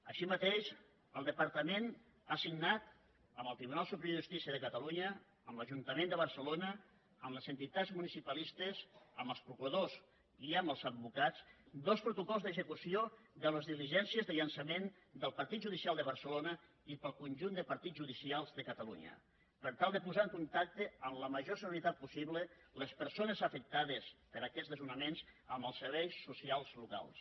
així mateix el departament ha signat amb el tribunal superior de justícia de catalunya amb l’ajuntament de barcelona amb les entitats municipalistes amb els procuradors i amb els advocats dos protocols d’execució de les diligències de llançament del partit judicial de barcelona i per al conjunt de partits judicials de catalunya per tal de posar en contacte amb la major celeritat possible les persones afectades per aquests desnonaments amb els serveis socials locals